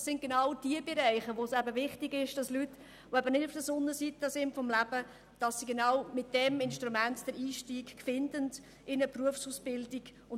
Das sind genau die Bereiche, die wichtig sind, damit Leute, die nicht auf der Sonnenseite des Lebens stehen, mit diesem Instrument den Einstieg in eine Berufsausbildung finden.